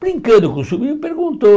Brincando com o sobrinho, perguntou.